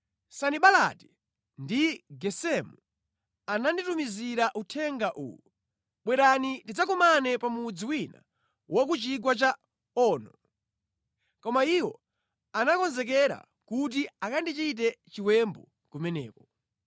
Sanibalati ndi Gesemu, ananditumizira uthenga uwu: “Bwerani tidzakumane pa mudzi wina ku chigwa cha Ono.” Koma iwo anakonzekera kuti akandichite chiwembu kumeneko.